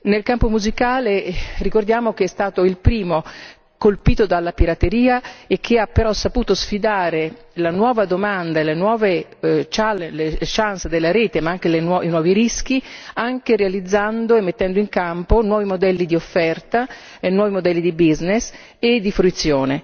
Il campo musicale ricordiamo che è stato il primo colpito dalla pirateria e che ha però saputo sfidare la nuova domanda e le nuove chance della rete, ma anche i nuovi rischi, anche realizzando e mettendo in campo nuovi modelli di offerta e nuovi modelli di business e di fruizione.